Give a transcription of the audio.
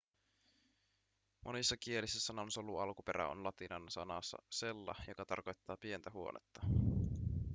monissa kielissä sanan solu alkuperä on latinan sanassa cella joka tarkoittaa pientä huonetta